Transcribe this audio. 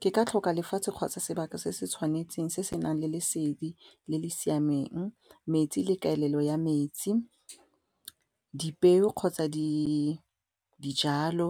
Ke ka tlhoka lefatshe kgotsa sebaka se se tshwanetseng se senang le lesedi le le siameng, metsi le kaelelo ya metsi dipeo kgotsa dijalo